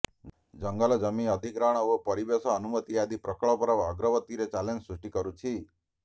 ଜଙ୍ଗଲ ଜମି ଅଧିଗ୍ରହଣ ଓ ପରିବେଶ ଅନୁମତି ଆଦି ପ୍ରକଳ୍ପର ଅଗ୍ରଗତିରେ ଚ୍ୟାଲେଞ୍ଜ ସୃଷ୍ଟି କରୁଛି